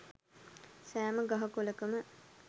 සෑම ගහ කොළකම